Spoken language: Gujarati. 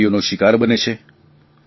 બિમારીઓનો શિકાર બને છે